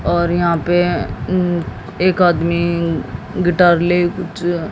और यहां पे एक आदमी गिटार ले कुछ--ये